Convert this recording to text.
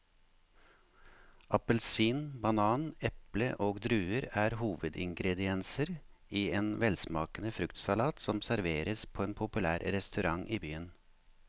Appelsin, banan, eple og druer er hovedingredienser i en velsmakende fruktsalat som serveres på en populær restaurant i byen.